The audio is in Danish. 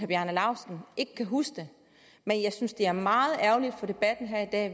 bjarne laustsen ikke kan huske det men jeg synes det er meget ærgerligt for debatten her i dag